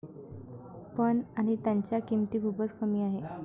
पण, आणि त्यांच्या किंमती खूपच कमी आहे.